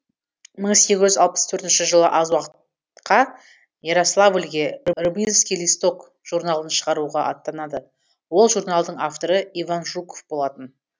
мың сегіз жүз алпыс төртінші жылы аз уақытқа ярославльге рыбинский листок журналын шығаруға аттанады ол журналдың авторы иван жуков болатын